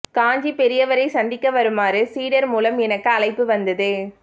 காஞ்சிப்பெரியவரைச் சந்திக்க வருமாறு சீடர் மூலம் எனக்கு அழைப்பு வந்தது